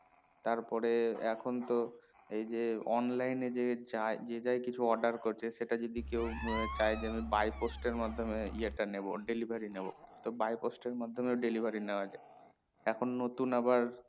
তারপরে এখন তো ওই যে online এ যায় যে যায় কিছু order করছে সেটা যদি কেও চাই যে আমি bye post এর মাধ্যমে ইয়ে টা নেবো delivery নেবো তো bye post এর মাধ্যমে delivery নেওয়া যায় এখন নতুন আবার